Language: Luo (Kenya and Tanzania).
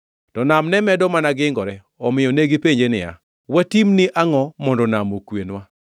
To nam ne medo mana gingore, omiyo negipenje niya, “Watimni angʼo mondo nam okwenwa?”